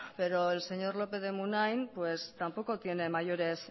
pero el señor lópez de munain tampoco tiene mayores